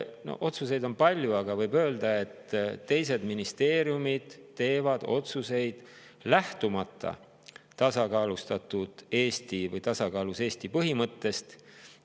Otsuseid on palju, aga võib öelda, et teised ministeeriumid teevad otsuseid, lähtumata tasakaalus Eesti põhimõttest.